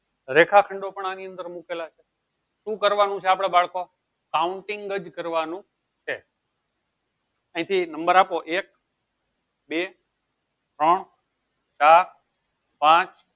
રેખા ખંડો ની અંદર મુકેલા છે શું કરવાનું છે આપળે બાળકો counting કરવાનું છે અયી થી number આપો એક બે ત્રણ ચાર પાંચ